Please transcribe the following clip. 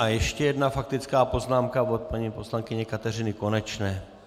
A ještě jedna faktická poznámka od paní poslankyně Kateřiny Konečné.